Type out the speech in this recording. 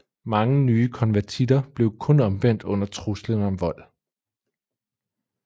Mange nye konvertitter blev kun omvendt under truslen om vold